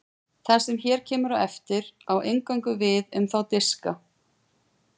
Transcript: það sem hér kemur á eftir á eingöngu við um þá diska